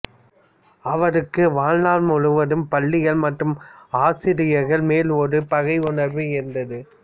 அவருக்கு வாழ்நாள் முழுவதும் பள்ளிகள் மற்றும் ஆசிரியர்கள் மேல் ஒரு பகை உணர்வு இருந்தது